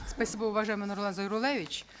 спасибо уважаемый нурлан зайроллаевич